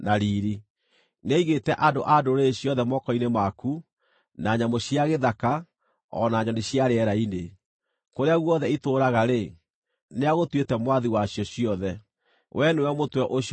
nĩaigĩte andũ a ndũrĩrĩ ciothe moko-inĩ maku, na nyamũ cia gĩthaka, o na nyoni cia rĩera-inĩ. Kũrĩa guothe itũũraga-rĩ, nĩagũtuĩte mwathi wacio ciothe. Wee nĩwe mũtwe ũcio wa thahabu.